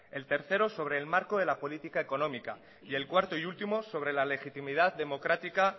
el tercero sobre el marco de la política económica y el cuarto y último sobre la legitimidad democrática